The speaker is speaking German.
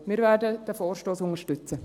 Wir werden diesen Vorstoss unterstützen.